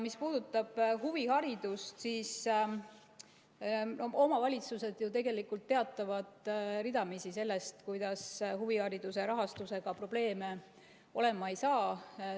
Mis puudutab huviharidust, siis omavalitsused ju tegelikult teatavad ridamisi sellest, kuidas huvihariduse rahastusega probleeme olema ei saa.